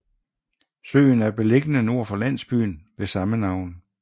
Søen er beliggende nord for landsbyen ved samme navn